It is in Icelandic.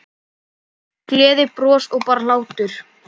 Gleði, bros og bara hlátur.